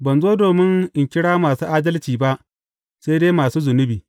Ban zo domin in kira masu adalci ba, sai dai masu zunubi.